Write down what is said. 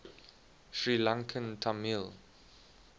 sri lankan tamil